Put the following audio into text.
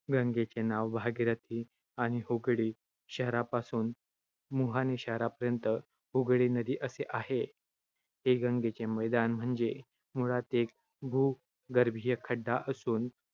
गंगेचे नाव भागीरथी आणि हुगळी शहरापासून मुहाने शहरापर्यंत हूगळी नदी असे आहे. हे गंगेचे मैदान म्हणजे मुळात एक भूगर्भीय खड्डा असून